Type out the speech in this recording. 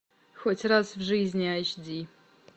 хоть раз в жизни айч ди